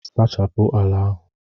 suchapu ala ahu!